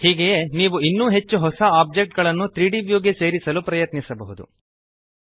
ಹೀಗೆಯೇ ನೀವು ಇನ್ನೂ ಹೆಚ್ಚು ಹೊಸ ಒಬ್ಜೆಕ್ಟ್ ಗಳನ್ನು 3ದ್ ವ್ಯೂ ಗೆ ಸೇರಿಸಲು ಪ್ರಯತ್ನಿಸಬಹುದು